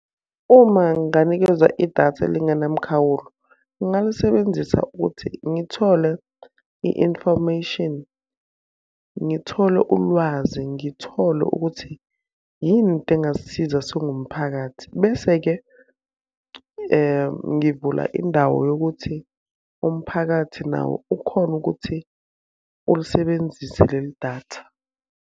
Uma nginganikezwa idatha elingenamkhawulo, ngingalisebenzisa ukuthi ngithole i-information. Ngithole ulwazi, ngithole ukuthi, yini into engasisiza singumphakathi. Bese-ke ngivula indawo yokuthi umphakathi nawo ukhone ukuthi ulisebenzise lelidatha.